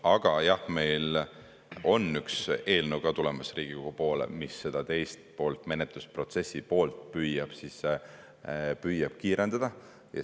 Aga jah, meil on Riigikogu poole tulemas üks eelnõu, mis seda teist poolt, menetlusprotsessi poolt, püüab kiirendada.